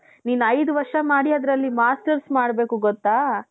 ನೀನು ಐದು ವರ್ಷ ಮಾಡಿ ಅದರಲ್ಲಿ masters ಮಾಡ್ಬೇಕು ಗೊತ್ತಾ?